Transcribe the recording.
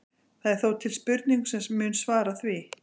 Það er þó til spurning sem mun svara því.